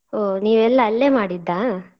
ಓ ನೀವೆಲ್ಲ ಅಲ್ಲೆ ಮಾಡಿದ್ದಾ.